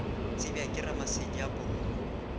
tsebja ke ramasedi a poloko